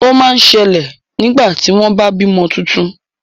Ó ma ń ṣẹlẹ̀ nígbà tí wọ́n bá bímọ tuntun.